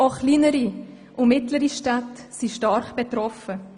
Auch kleinere und mittlere Städte sind stark betroffen.